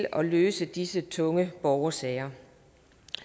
at løse disse tunge borgersager